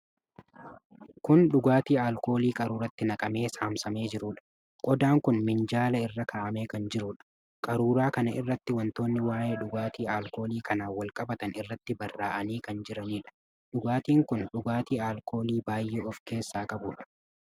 Kun dhugaatii alkoolii qaruuraatti naqamee saamsamee jiruudha. Qodaan kun minjaala irra kaa'amee kan jiruudha. Qaruuraa kana irratti wantoonni waa'ee dhugaatii alkoolii kanaan wal qabatan irratti barraa'anii kan jiranidha. Dhugaatiin kun dhugaatii alkoolii baay'ee of keessaa qabudha.